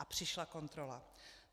A přišla kontrola."